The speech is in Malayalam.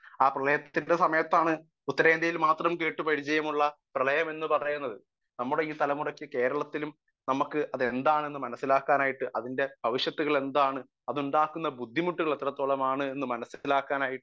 സ്പീക്കർ 1 ആ പ്രളയത്തിന്റെ സമയത്താണ് ഉത്തരേന്ത്യയിൽ മാത്രം കേട്ട് പരിചയമുള്ള പ്രളയം എന്ന് പറയുന്നത് നമ്മുടെ ഈ തലമുറക്ക് കേരളത്തിലും അതെന്താണെന്നു മനസ്സിലാക്കാനായിട്ടു അതിന്റെ ഭവിഷ്യത്തുകൾ എന്താണെന്നു അതുണ്ടാക്കുന്ന ബുദ്ധിമുട്ടുകൾ എത്രത്തോളമാണെന്ന് മനസ്സിലാക്കാനായിട്ടും